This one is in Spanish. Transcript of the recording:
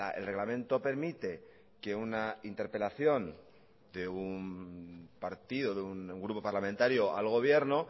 el reglamento permite que una interpelación de un partido de un grupo parlamentario al gobierno